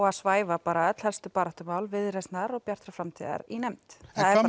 að svæfa öll helstu baráttumál Viðreisnar og Bjartrar framtíðar í nefnd